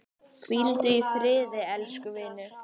Hvíldu í friði elsku vinur.